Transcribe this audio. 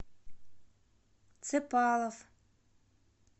цепалов